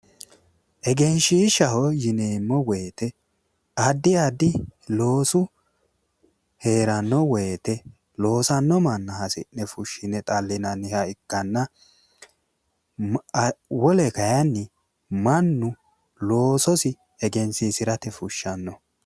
egenshiishshaho yineemmo wote addi addi loosu heeranno wote loosanno manna hasi'ne fushshine xallinanniha ikkanna wole kayiinni mannu loososi egensiisate fushshannoho.